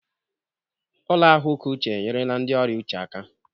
Ụlọ ahụike uche enyerela ndị ọrịa uche aka.